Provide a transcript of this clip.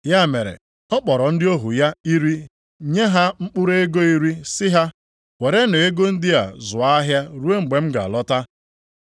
Ya mere, ọ kpọrọ ndị ohu ya iri nye ha mkpụrụ ego iri sị ha, ‘Werenụ ego ndị a zụọ ahịa ruo mgbe m ga-alọta.’